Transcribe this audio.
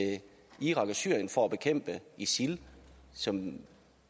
irak og syrien for at bekæmpe isil som